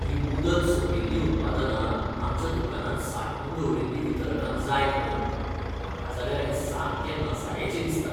हीं मुदत सोंपिल्लीं उत्पादनां आमच्या दुकानांत सांठोवन दवरिल्लीं वितरकांक जाय खंय. म्हाका जाल्यार हें सामकें नसायेचें दिसता.